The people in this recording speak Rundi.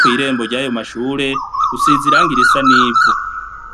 kwirembo ry'ayo mashure usizirang irisa n'ivu.